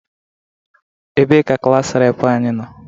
Ebee ka Klaas reepụ anyị nọ?